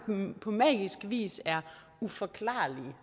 på magisk vis er uforklarlige